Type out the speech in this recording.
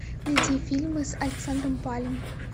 найди фильмы с александром палем